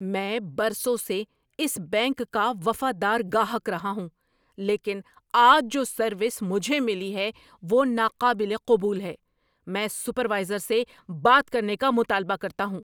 میں برسوں سے اس بینک کا وفادار گاہک رہا ہوں لیکن آج جو سروس مجھے ملی ہے وہ ناقابل قبول ہے۔ میں سپروائزر سے بات کرنے کا مطالبہ کرتا ہوں!